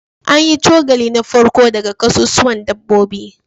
An yi cokali na farko daga kasusuwan dabbobi